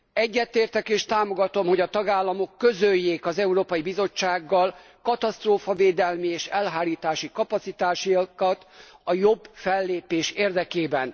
Egyetértek és támogatom, hogy a tagállamok közöljék az Európai Bizottsággal katasztrófavédelmi és elhárítási kapacitásaikat a jobb fellépés érdekében.